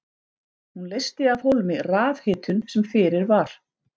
Hún leysti af hólmi rafhitun sem fyrir var.